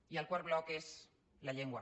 i el quart bloc és la llengua